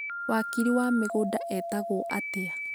wakiri wa mĩgũnda etagwo atĩa